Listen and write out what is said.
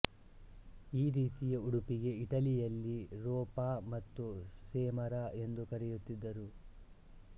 ಈ ರೀತಿಯ ಉಡುಪಿಗೆ ಇಟಲಿಯಲ್ಲಿ ರೋಪಾ ಮತ್ತು ಸೆಮರಾ ಎಂದು ಕರೆಯುತ್ತಿದ್ದರು